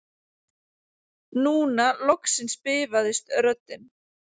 Núna loksins bifaðist röddin